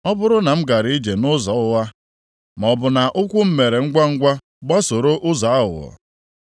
“Ọ bụrụ na m gara ije nʼụzọ ụgha maọbụ na ụkwụ m mere ngwangwa gbasoro ụzọ aghụghọ,